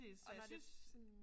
Og var det sådan